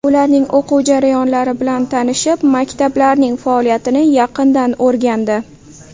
Ularning o‘quv jarayonlari bilan tanishib, maktablarning faoliyatini yaqindan o‘rgandi.